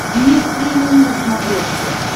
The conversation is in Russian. мир премиум на смотрешке